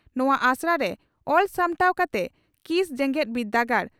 ᱱᱚᱣᱟ ᱟᱥᱲᱟ ᱨᱮ ᱚᱞ ᱥᱟᱯᱲᱟᱣ ᱠᱟᱛᱮ ᱠᱤᱥ ᱡᱮᱜᱮᱛ ᱵᱤᱨᱫᱟᱹᱜᱟᱲ